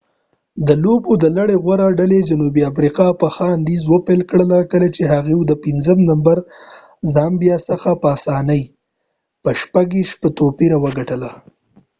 د لوبو د لړۍ غوره ډلې جنوبي افریقا په ښه انداز پیل وکړ کله چې هغوی د پنځم نمبر زامبیا څخه په آسانۍ د 26-00 په توپیر وګټله